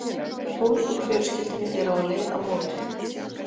Tólf úr fjölskyldunni eru á leið á mótið.